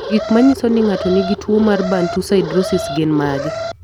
Gik manyiso ni ng'ato nigi tuwo mar Bantu siderosis gin mage?